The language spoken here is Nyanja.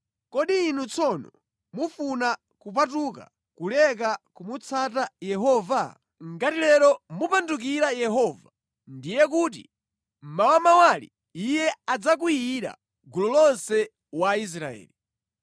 Kodi inu tsono mufuna kupatuka kuleka kumutsata Yehova? “ ‘Ngati lero mumupandukira Yehovayo, ndiye kuti mawamawali Iye adzakwiyira gulu lonse wa Israeli.